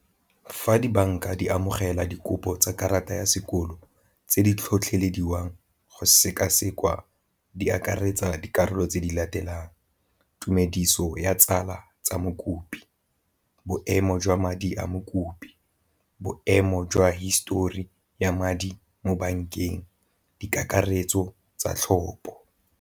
Fa dibanka di amogela dikopo tsa karata ya sekolo tse di tlhotlhelediwang go seka-sekwa di akaretsa dikarolo tse di latelang tumediso ya tsala tsa mokopi, boemo jwa madi a mokopi, boemo jwa histori ya madi mo bankeng, di kakaretso tsa tlhopo.